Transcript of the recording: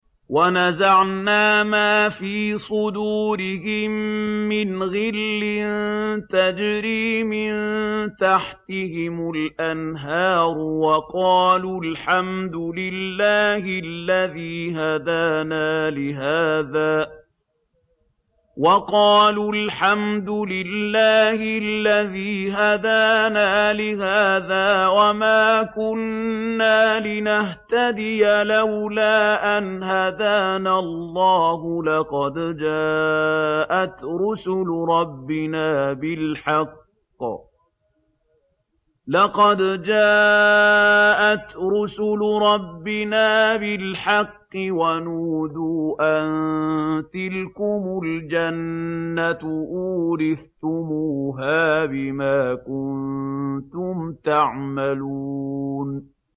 وَنَزَعْنَا مَا فِي صُدُورِهِم مِّنْ غِلٍّ تَجْرِي مِن تَحْتِهِمُ الْأَنْهَارُ ۖ وَقَالُوا الْحَمْدُ لِلَّهِ الَّذِي هَدَانَا لِهَٰذَا وَمَا كُنَّا لِنَهْتَدِيَ لَوْلَا أَنْ هَدَانَا اللَّهُ ۖ لَقَدْ جَاءَتْ رُسُلُ رَبِّنَا بِالْحَقِّ ۖ وَنُودُوا أَن تِلْكُمُ الْجَنَّةُ أُورِثْتُمُوهَا بِمَا كُنتُمْ تَعْمَلُونَ